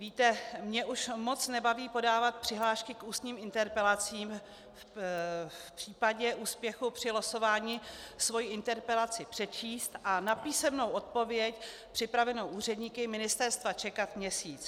Víte, mě už moc nebaví podávat přihlášky k ústním interpelacím, v případě úspěchu při losování svoji interpelaci přečíst a na písemnou odpověď připravenou úředníky ministerstva čekat měsíc.